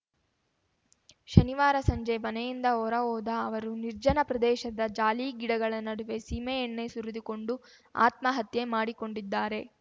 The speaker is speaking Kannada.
ಶನಿವಾರ ಸಂಜೆ ಮನೆಯಿಂದ ಹೊರ ಹೋದ ಅವರು ನಿರ್ಜನ ಪ್ರದೇಶದ ಜಾಲಿ ಗಿಡಗಳ ನಡುವೆ ಸೀಮೆಎಣ್ಣೆ ಸುರಿದುಕೊಂಡು ಆತ್ಮಹತ್ಯೆ ಮಾಡಿಕೊಂಡಿದ್ದಾರೆ